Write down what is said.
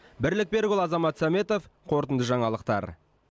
бірлік берікұлы азамат сәметов қорытынды жаңалықтар